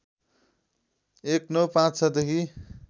१९५६ देखि